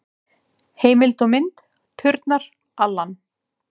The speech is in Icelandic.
Heimild og mynd: Turnar, Alan.